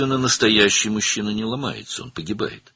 Əslində, əsl kişi sınmır, ölür.